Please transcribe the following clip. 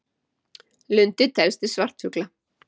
Lundi telst til svartfugla.